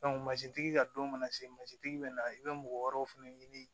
mansintigi ka don mana se mansintigi bɛ na i bɛ mɔgɔ wɛrɛw fana ɲini